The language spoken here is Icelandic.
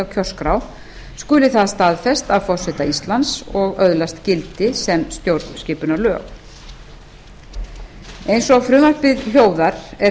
á kjörskrá skuli það staðfest af forseta íslands og öðlast gildi sem stjórnskipunarlög eins og frumvarpið hljóðar er